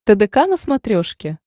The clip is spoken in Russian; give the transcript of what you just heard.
тдк на смотрешке